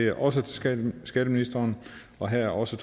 er også til skatteministeren og her er også